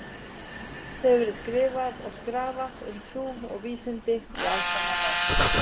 Margt hefur verið skrifað og skrafað um trú og vísindi í aldanna rás.